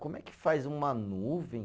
Como é que faz uma nuvem?